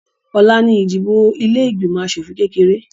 Ọ̀la ni ìdìbò ilé ìgbìmọ̀ asòfìn kékeré